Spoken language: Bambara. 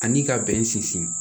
Ani ka bɛn sinsin